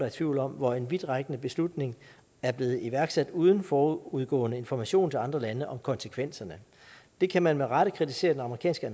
i tvivl om hvor en vidtrækkende beslutning er blevet iværksat uden forudgående information til andre lande om konsekvenserne det kan man med rette kritisere den amerikanske